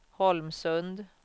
Holmsund